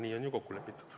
Nii on ju kokku lepitud.